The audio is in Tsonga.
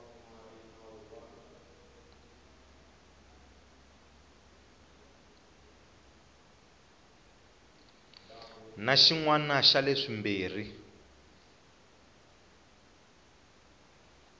na xin wana xa leswimbirhi